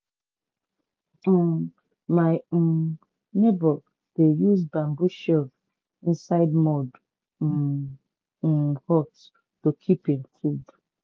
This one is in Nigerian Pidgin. um my um neighbour dey use bamboo shelf inside mud um um hut to keep him food.